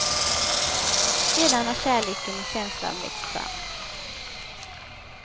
Sedan har kärleken och känslan växt fram.